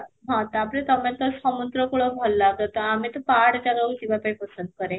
ହଁ, ତା'ପରେ ତୋମେ ତ ସମୁଦ୍ର କୁଳ ଭଲ ଲାଗେ ତ, ଆମେ ତ ପାହାଡ ଜାଗା କୁ ଯିବା ପାଇଁ ପସନ୍ଦ କରେ